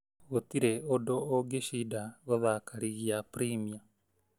"Gũtire ũndũ ũgeshida gũthaka rigi ya premier.